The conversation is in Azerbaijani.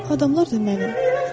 Adamlar da mənim.